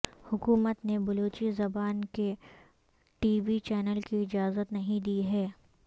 حکومت نے بلوچی زبان کے ٹی وی چینل کی اجازت نہیں دی ہے